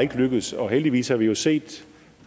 ikke lykkes heldigvis har vi jo set